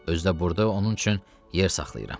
Özü də burda onun üçün yer saxlayıram.